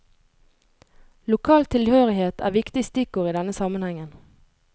Lokal tilhørighet er viktig stikkord i denne sammenhengen.